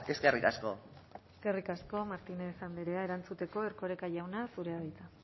eskerrik asko eskerrik asko martínez andrea erantzuteko erkoreka jauna zurea da hitza